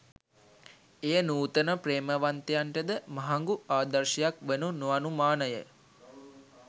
එය නුතන ප්‍රේමවන්තයන්ට ද මහඟු ආදර්ශයක් වනු නොඅනුමාන ය